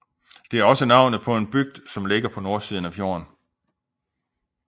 Det er også navnet på en bygd som ligger på nordsiden af fjorden